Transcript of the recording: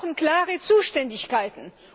Wir brauchen klare Zuständigkeiten.